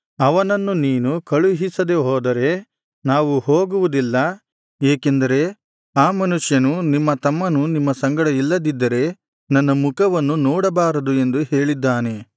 ಅವನನ್ನು ನೀನು ಕಳುಹಿಸದೆ ಹೋದರೆ ನಾವು ಹೋಗುವುದಿಲ್ಲ ಏಕೆಂದರೆ ಆ ಮನುಷ್ಯನು ನಿಮ್ಮ ತಮ್ಮನು ನಿಮ್ಮ ಸಂಗಡ ಇಲ್ಲದಿದ್ದರೆ ನನ್ನ ಮುಖವನ್ನು ನೋಡಬಾರದು ಎಂದು ಹೇಳಿದ್ದಾನೆ